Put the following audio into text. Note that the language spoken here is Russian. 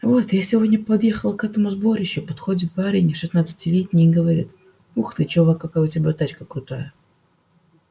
вот я сегодня подъехал к этому сборищу подходит парень шестнадцатилетний и говорит ух ты чувак какая у тебя тачка крутая